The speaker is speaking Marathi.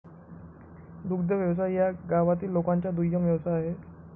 दुग्ध व्यवसाय या गावातील लोकांचा दुय्यम व्यवसाय आहे